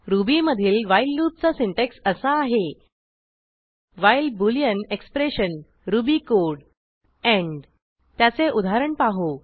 ruby मधील while लूपचा syntax असा आहे while boolean expression Ruby code end त्याचे उदाहरण पाहू